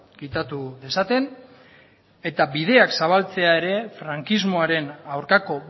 kitatu esaten eta bideak zabaltzea ere frankismoaren aurkako